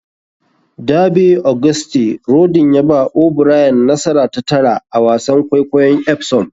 Derby: Auguste Rodin ya ba O'Brien nasara ta tara a wasan kwaikwayon Epsom